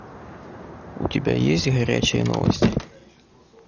у тебя есть горячие новости